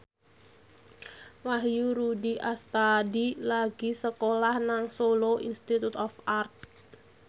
Wahyu Rudi Astadi lagi sekolah nang Solo Institute of Art